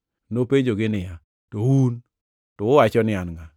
Nopenjogi niya, “To un, to uwacho ni An ngʼa?”